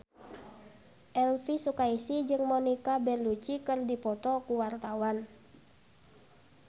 Elvy Sukaesih jeung Monica Belluci keur dipoto ku wartawan